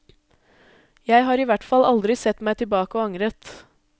Jeg har i hvert fall aldri sett meg tilbake og angret.